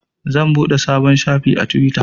Zan buɗe sabon shafi a twitter.